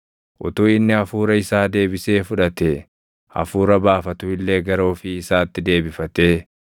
Utuu inni hafuura isaa deebisee fudhatee, hafuura baafatu illee gara ofii isaatti deebifatee,